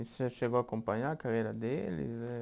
E você chegou a acompanhar a carreira deles, eh?